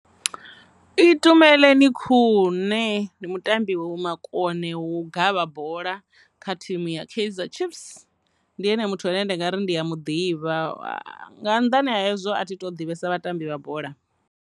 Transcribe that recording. Itumeleni Khune ndi mutambi wo makone wo gavha bola kha thimu ya kaizer chiefs, ndi ene muthu ane ndi nga ri ndi ya mu ḓivha nga nnḓani ha hezwo a thi to ḓivhesa vhatambi vha bola.